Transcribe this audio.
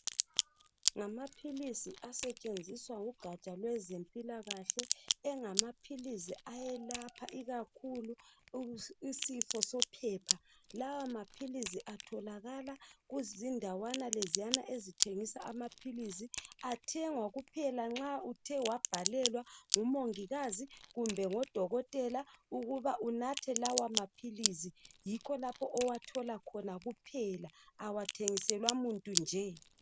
Ngamaphilisi asetshenziswa ngugatsha lwezempilakahle engamaphilisi ayelapha ikakhuku isifo sophepha lawa maphilisi athokalala kuzindawana leziyana ezithengisa amaphilisi athengwa kuphela nxa uthe wabhalelwa ngumongikazi kumbe ngodokotela ukuba unathe lawa maphilisi yikho lapha owathola khona kuphela awathengiselwa umuntu nje.